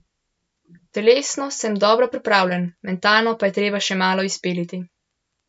Telesno sem dobro pripravljen, mentalno pa je treba še malo izpiliti.